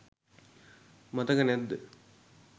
මතක නැද්ද